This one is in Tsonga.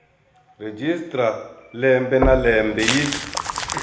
registrar lembe na lembe yi